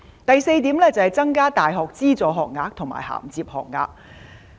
第四點，增加大學資助學額和銜接學額。